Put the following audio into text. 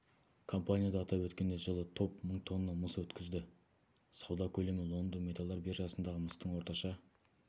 компанияда атап өткендей жылы топ мың тонна мыс өткізді сауда көлемі лондон металдар биржасындағы мыстың орташа